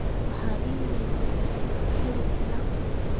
waxaan iimayl cusub ka helay eric